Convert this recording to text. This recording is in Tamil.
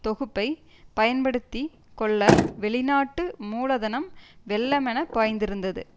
தொகுப்பைப் பயன்படுத்தி கொள்ள வெளி நாட்டு மூலதனம் வெள்ளமென பாய்ந்திருந்தது